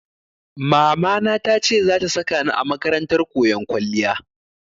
Mamana ta ce za ta saka ni a makarantar koyon kwalliya.